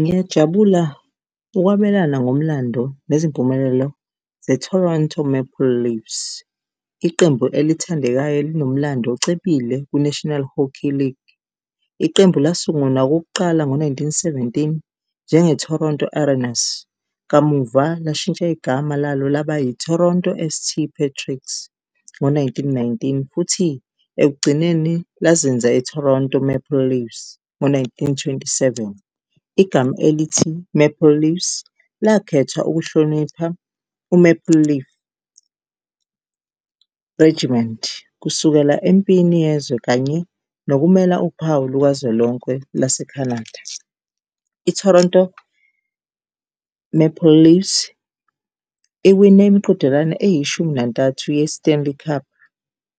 Ngiyajabula ukwabelana ngomlando nezimpumelelo ze-Toronto Maple Leafs, iqembu elithandekayo elinomlando ocebile kwi-National Hockey League. Iqembu lasungulwa okokuqala ngo-nineteen-seventeen njenge-Toronto Arenas, kamuva lashintsha igama lalo laba i-Toronto S_T Patricks ngo-nineteen-nineteen futhi ekugcineni lazenza i-Toronto Maple Leafs ngo-nineteen twenty-seven. Igama elithi Maple Leaves lakhethwa ukuhlonipha u-Maple Leaf Regiment kusukela empini yezwe kanye nokumela uphawu lukazwelonke lase-Canada. I-Toronto Maple Leafs iwine imiqhudelwano eyishumi nantathu ye-Stanley Cup